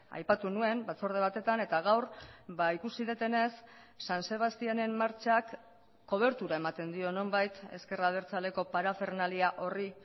aipatu nuen batzorde batetan eta gaur ikusi dudanez san sebastianen martxak kobertura ematen dio nonbait ezker abertzaleko parafernalia horri